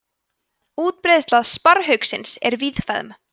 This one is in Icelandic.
útbreiðsla sparrhauksins er víðfeðm